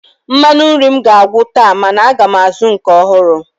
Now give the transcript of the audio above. Mmanụ nri m ga-agwụ taa mana aga m azụ nke ọhụrụ